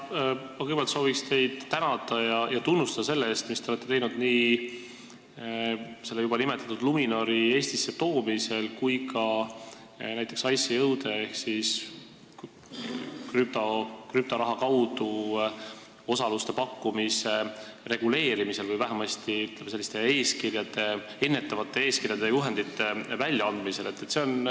Ma soovin kõigepealt teid tänada ja tunnustada sellest eest, mis te olete teinud nii juba nimetatud Luminori Eestisse toomisel kui ka näiteks ICO-de ehk krüptoraha kaudu osaluste pakkumise reguleerimisel või vähemasti, ütleme, ennetavate eeskirjade ja juhendite väljaandmisel.